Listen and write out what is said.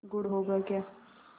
गुड़ होगा क्या